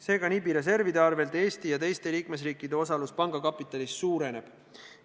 Seega, NIB-i reservide arvel Eesti ja teiste liikmesriikide osalus panga kapitalis suureneb.